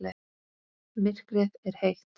Myrkrið er heitt.